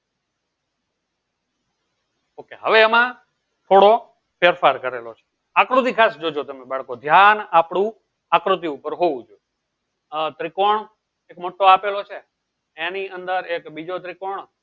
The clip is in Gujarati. ઓકે હવે હેમા થોડો ફેર ફાર કરેલો છે આકૃતિ ખાસ જોજો તમે બાળક ધ્યાન આપડું આકૃતિ ઉપર હોવું જોયીયે આ ત્રિકોણ મોટો આપેલો છે એની અંદર એક બીજી ત્રીકોણ